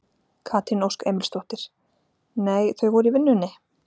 Katrín Ósk Emilsdóttir: Nei þau voru í vinnunni?